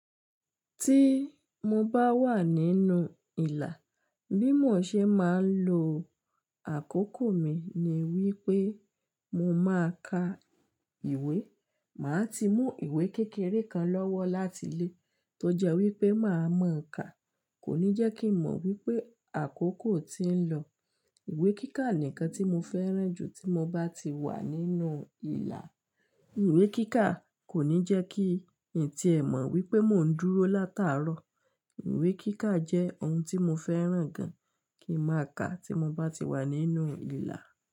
Tí mo bá wà nínú ìlà, bímọ ṣe máa ń lo àkókò mi ni wípé mo máa ka ìwé. Máa ti mú ìwé kékeré kan lọ́wọ́ láti ilé tó jẹ́ wípé màá mọ ka, kò ní jẹ́ kí mọ̀ wípé àkókò ti ń lọ. Ìwé kíkà nìkan tí mo fẹ́ràn jù tí mo bá ti wà nínú ìlà. Ìwé kíkà kò ní jẹ́ kí ǹtí ẹ mọ̀ wípé mò ń dúró látàárọ̀. Ìwé kíkà jẹ́ ohun tí mo fẹ́ràn gan kí máa ka tí mo bá ti wà nínú ìlà.